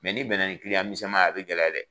n'i bɛn na ni misɛn ma ye a bɛ gɛlɛya dɛ.